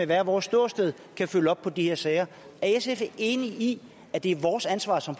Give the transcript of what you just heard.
hvert vores ståsted kan følge op på de her sager er sf enig i at det er vores ansvar som